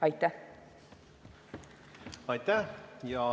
Aitäh!